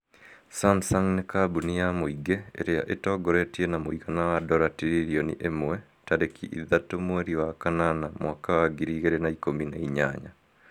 Samsung ni kambuni ya mũingĩ ĩrĩa ĩtongoretie na mũigana wa dora tililioni imwe tarĩki ithatũ mwerĩ wa kanana mwaka wa ngiri igĩrĩ na ikũmi na inyanya